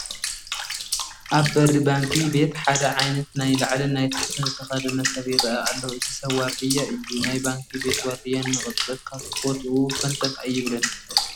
ኣብ በሪ ባንኪ ቤት ሓደ ዓይነት ናይ ላዕልን ናይ ታሕትን ዝተኸደነ ሰብ ይርአ ኣሎ፡፡ እዚ ሰብ ዋርድያ እዩ፡፡ ናይ ባንኪ ቤት ዋርድያ ንቕፅበት ካብ ቦትኡ ፈንተት ኣይብልን፡፡